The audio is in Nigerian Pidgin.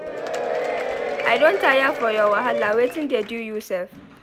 I don tire for your wahala wetin dey do you sef?